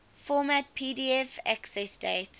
format pdf accessdate